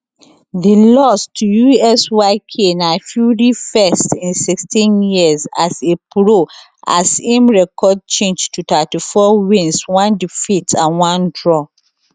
di loss to usyk na fury first in 16 years as a pro as im record change to 34 wins one defeat and one draw